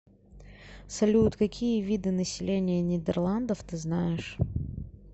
салют какие виды население нидерландов ты знаешь